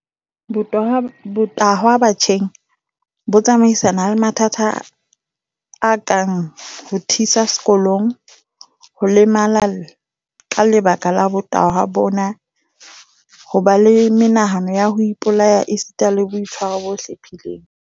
Botahwa batjheng bo tsamaisana le mathata a kang ho thisa sekolong, ho lemala ka lebaka la botahwa bona, ho ba le menahano ya ho ipolaya esitana le boitshwaro bo hlephileng.